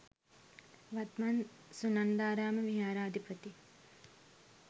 වත්මන් සුනන්දාරාම විහාරාධිපති